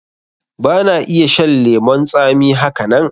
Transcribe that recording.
Ba na iya shan lemon tsami haka nan